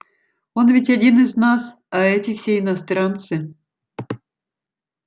он ведь один из нас а эти все иностранцы